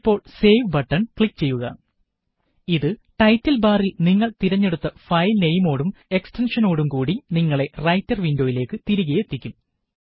ഇപ്പോള് save button click ചെയ്യുക ഇത് ടൈറ്റില് ബാറില് നിങ്ങള് തിരഞ്ഞെടുത്ത ഫയല് നെയിമോടും എക്സ്റ്റെന്ഷനോടും കൂടി നിങ്ങളെ റൈറ്റര് വിന്ഡോയിലേക്ക് തിരികെ എത്തിക്കും